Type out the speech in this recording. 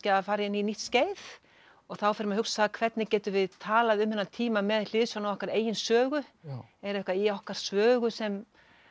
að fara inn í nýtt skeið og þá fer maður að hugsa hvernig getum við talað um þennan tíma með hliðsjón af okkar eigin sögu er eitthvað í okkar sögu sem